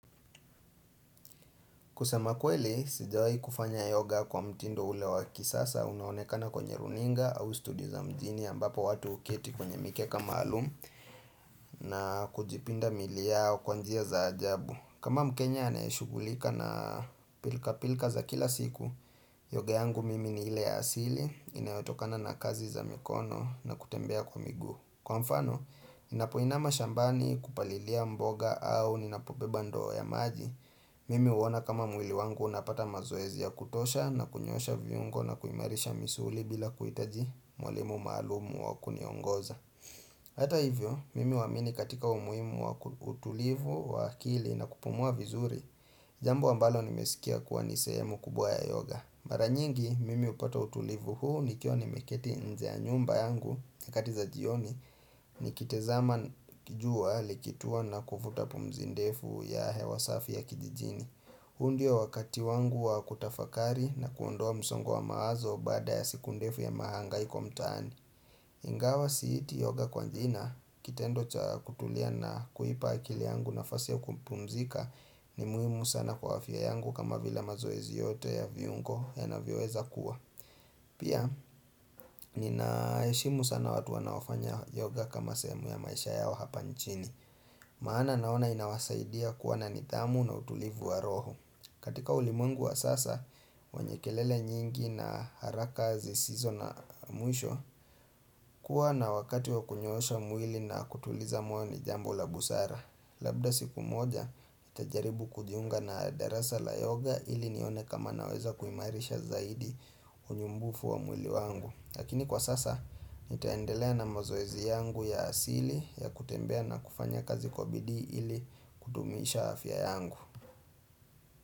Kusema kweli, sijawai kufanya yoga kwa mtindo ule wa kisasa, unaonekana kwenye runinga au studio za mjini ambapo watu uketi kwenye mikeka maalumu na kujipinda miili yao kwa njia za ajabu. Kama mkenya aneshugulika na pilka pilka za kila siku, yoga yangu mimi ni ile ya asili, inayotokana na kazi za mikono na kutembea kwa miguu. Kwa mfano, ninapoinama shambani kupalilia mboga au ninapobeba ndoo ya maji, mimi huona kama mwili wangu unapata mazoezia ya kutosha na kunyoosha viungo na kuimarisha misuli bila kuhitaji mwalimu maalum wa kuniongoza. Hata hivyo, mimi huamini katika umuhimu wa utulivu, wa akili na kupumua vizuri Jambo ambalo nimesikia kuwa nisehemu kubwa ya yoga mara nyingi, mimi upata utulivu huu nikiwa ni meketi nje ya nyumba yangu nyakati za jioni, ni kitizama jua likitua na kuvuta pumzi ndefu ya hewa safi ya kijijini huu ndio wakati wangu wa kutafakari na kuondoa msongo wa mawazo baada ya siku ndefu ya mahangaiko mtaani Ingawa siiti yoga kwa jina kitendo cha kutulia na kuipa akili yangu nafasi ya kupumzika ni muhimu sana kwa afya yangu kama vila mazoezi yote ya viungo yanavyoweza kuwa Pia ninaheshimu sana watu wanaofanya yoga kama sehemu ya maisha yao hapa nchini Maana naona inawasaidia kuwa na nidhamu na utulivu wa roho katika ulimwengu wa sasa, wenye kelele nyingi na haraka zisizo na mwisho kuwa na wakati wa kunyoosha mwili na kutuliza moyo ni jambo la busara Labda siku moja, nitajaribu kujiunga na darasa la yoga ili nione kama naweza kuimarisha zaidi unyumbufu wa mwili wangu Lakini kwa sasa, nitaendelea na mazoezi yangu ya asili ya kutembea na kufanya kazi kwa bidii ili kudumisha afya yangu.